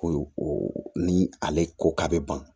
Ko ni ale ko k'a bɛ ban